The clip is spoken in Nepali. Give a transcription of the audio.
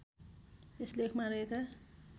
यस लेखमा रहेका